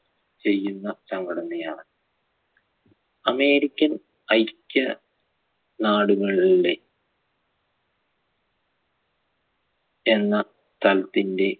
ചെയ്യുന്ന സംഘടനയാണ് american ഐക്യ നാടുകളൂടെ എന്ന സ്ഥലത്തിന്റെ